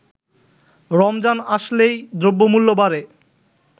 “রমজান আসলেই দ্রব্যমূল্য বাড়ে